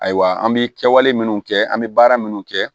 Ayiwa an bi kɛwale minnu kɛ an bɛ baara minnu kɛ